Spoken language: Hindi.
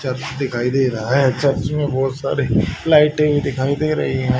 चर्च दिखाई दे रहा है चर्च में बहोत सारी लाइटें दिखाई दे रही है।